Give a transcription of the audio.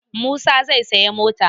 Musa zai sayi motar.